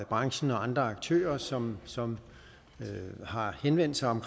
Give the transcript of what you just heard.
branchen og andre aktører som som har henvendt sig om